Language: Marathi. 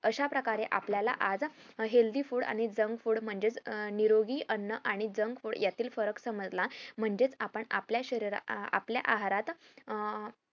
अशाप्रकारे आपल्याला आज healthy food आणि junk food म्हणजे निरोगी अन्न आणि junk food यातील फरक समजला म्हणजे आपण आपल्या शरीरात आपल्या आहारात अं